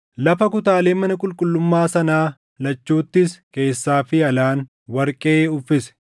Lafa kutaalee mana qulqullummaa sanaa lachuuttis keessaa fi alaan warqee uffise.